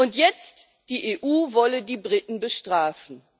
Und jetzt Die EU wolle die Briten bestrafen.